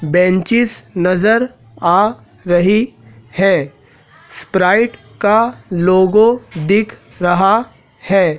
Benches नज़र आ रही है स्प्राइट का लोगो दिख रहा है।